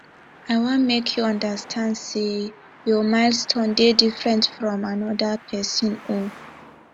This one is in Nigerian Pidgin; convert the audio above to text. i wan make you understand sey your milestone dey different fromm anoda pesin own